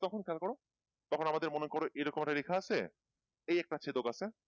তখন খেয়াল করো তখন আমাদের মনে করো এরকম একটা রেখা আছে এই একটা ছেদক আছে